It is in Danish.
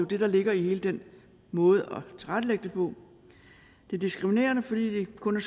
det der ligger i hele den måde at tilrettelægge det på det er diskriminerende fordi det kun er